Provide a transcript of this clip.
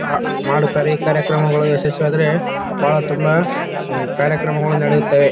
ಆಹ್ಹ್ ಮಾಡುತ್ತಾರೆ ಈ ಕಾರ್ಯಕ್ರಮಗಳು ಯಶಸ್ವಿಯಾದ್ರೆ ಬಹಳ ತುಂಬಾ ಕಾರ್ಯಕ್ರಮಗಳು ನಡೆಯುತ್ತವೆ.